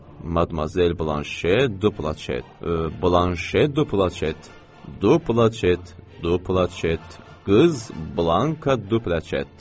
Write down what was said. “Madmazel Blanşe Duplaşet. Blanşe Duplaşet. Duplaşet. Duplaşet. Qız Blanka Duplaşet.”